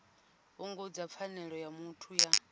fhungudza pfanelo ya muthu ya